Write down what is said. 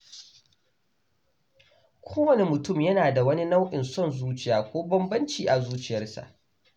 Kowane mutum yana da wani nau’in son zuciya ko bambanci a zuciyarsa.